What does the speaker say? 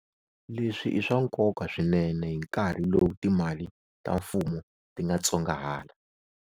Leswi i swa nkonka swinene hi nkarhi lowu timali ta mfumo ti nga tsongahala.